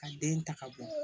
Ka den ta ka bɔ